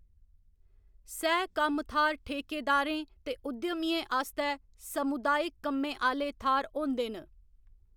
सह कम्म थाह्‌‌‌र ठेकेदारें ते उद्यमियें आस्तै सामुदायक कम्में आह्‌ले थाह्‌‌‌र होंदे न।